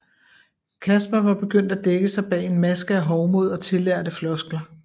Kaspar var begyndt at dække sig bag en maske af hovmod og tillærte floskler